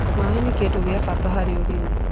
Maĩ nĩ kĩndũ gĩa bata harĩ ũrĩmi